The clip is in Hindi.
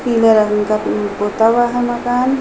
पीले रंग का पुता हुआ है मकान।